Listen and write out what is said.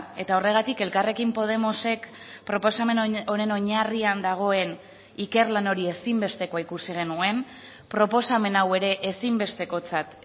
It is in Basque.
eta horregatik elkarrekin podemosek proposamen honen oinarrian dagoen ikerlan hori ezinbestekoa ikusi genuen proposamen hau ere ezinbestekotzat